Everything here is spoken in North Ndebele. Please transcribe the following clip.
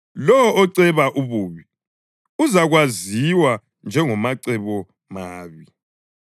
Lowo oceba ububi uzakwaziwa njengomacebomabi.